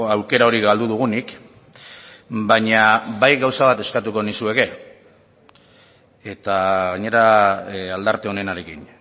aukera hori galdu dugunik baina bai gauza bat eskatuko nizueke eta gainera aldarte onenarekin